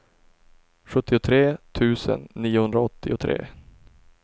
sjuttiotre tusen niohundraåttiotre